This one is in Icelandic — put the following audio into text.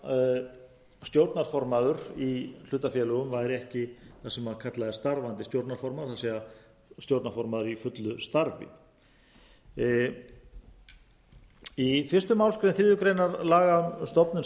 að stjórnarformaður í hlutafélögum væri ekki það sem kallað er starfandi stjórnarformaður það er stjórnarformaður í fullu starfi í fyrstu málsgrein þriðju grein laga um stofnun sameignarfyrirtækis